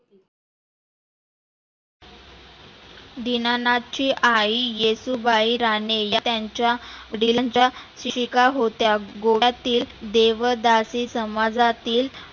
दिनानाथची आई येसुबाई राणे त्यांच्या होत्या गोव्यातील देवदासी समाजातील